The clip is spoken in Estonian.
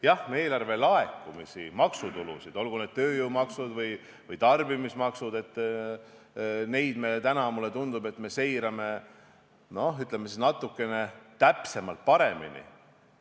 Jah, eelarve laekumisi, maksutulusid, olgu need tööjõumaksud või tarbimismaksud, me seirame praegu natuke täpsemalt ja paremini.